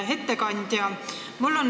Hea ettekandja!